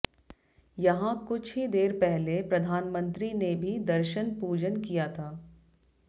यहां कुछ ही देर पहले प्रधानमंत्री ने भी दर्शन पूजन किया था